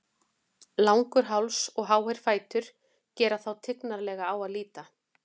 Langur háls og háir fætur gera þá tignarlega á að líta.